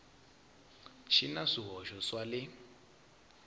xi na swihoxo swa le